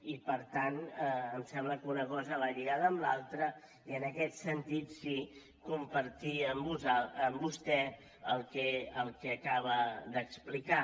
i per tant em sembla que una cosa va lligada amb l’altra i en aquest sentit sí compartim amb vostè el que acaba d’explicar